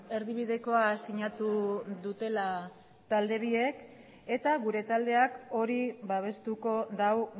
erdibidekoa sinatu dutela talde biek eta gure taldeak hori babestuko du